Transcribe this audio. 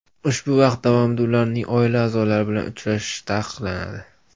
Ushbu vaqt davomida ularning oila a’zolari bilan uchrashishi taqiqlanadi.